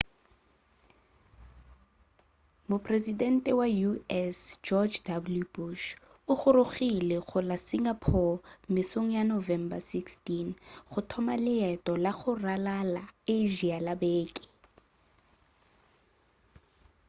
mopresidente wa u.s. george w bush o gorogile go la singapore mesong ya november 16 go thoma leeto la go ralala asia la beke